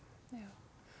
já